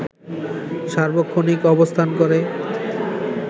সার্বক্ষণিক অবস্থান করে